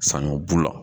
Sanɲɔ bu la